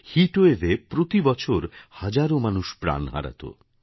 hit wave এ প্রতি বছর হাজারো মানুষ প্রাণ হারাতো